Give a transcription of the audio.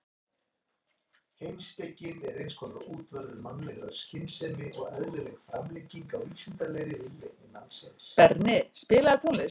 Berni, spilaðu tónlist.